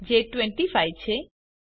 જે 25 છે